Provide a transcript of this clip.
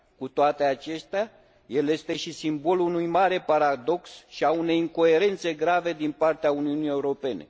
Cu toate acestea, el este și simbolul unui mare paradox și al unei incoerențe grave din partea Uniunii Europene.